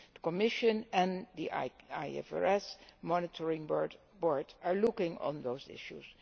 The Commission and the IFRS Monitoring Board are both looking at those issues.